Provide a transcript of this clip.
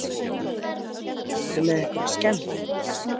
Hödd Vilhjálmsdóttir: Ertu með einhverja skemmd?